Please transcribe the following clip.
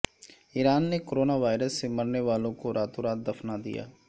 ایران نے corona virus سے مرنے والوں کو راتوں رات دفنادیا